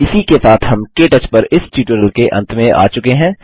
इसी के साथ हम के टच पर इस ट्यूटोरियल के अंत में आ चुके हैं